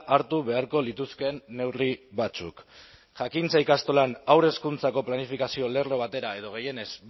hartu beharko lituzkeen neurri batzuk jakintza ikastolan haur hezkuntzako planifikazio lerro batera edo gehienez